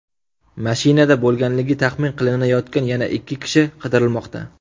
Mashinada bo‘lganligi taxmin qilinayotgan yana ikki kishi qidirilmoqda.